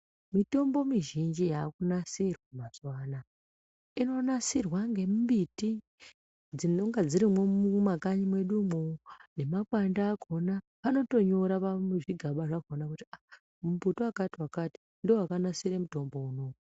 Mitombo mizhinji yaku nasirwa mazuva anaya ino nasirwa nge mbiti dzinonga dzirimwo mu makanyi mwedumwo ne makwande akona anotonyora muzvigaba zvakona kuti aa mu mbuti wakati wakati ndo wakanasire mitombo unowu .